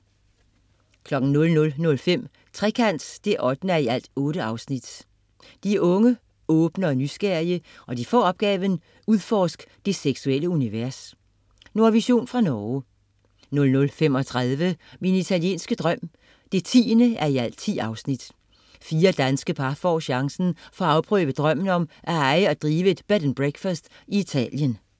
00.05 Trekant 8:8. De er unge, åbne og nysgerrige, og de får opgaven: Udforsk det seksuelle univers. Nordvision fra Norge 00.35 Min italienske drøm 10:10. Fire danske par får chancen for at afprøve drømmen om at eje og drive et Bed & Breakfast i Italien